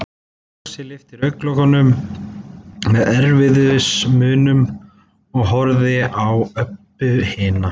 Lási lyfti augnalokunum með erfiðismunum og horfði á Öbbu hina.